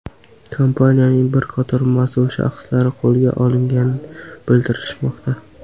Kompaniyaning bir qator mas’ul shaxslari qo‘lga olingani bildirilmoqda.